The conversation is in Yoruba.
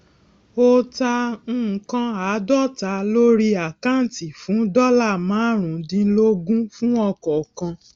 o ta nǹkan àádóta lórí àkáǹtì fún dọlà marun dínlógún fún ọkọọkan